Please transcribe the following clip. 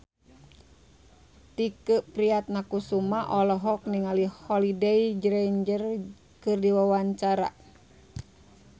Tike Priatnakusuma olohok ningali Holliday Grainger keur diwawancara